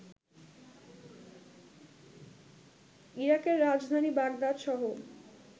ইরাকের রাজধানী বাগদাদসহ